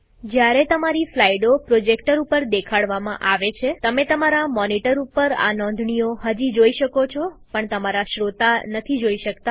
જ્યારે તમારી સ્લાઈડો પ્રોજેક્ટર ઉપર દેખાડવામાં આવે છે તમે તમારા મોનીટર ઉપર આ નોંધણીઓ હજી જોઈ શકો છો પણ તમારા શ્રોતા નથી જોઈ શકતા